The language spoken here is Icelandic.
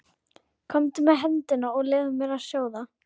Komdu með hendina og leyfðu mér að sjá það.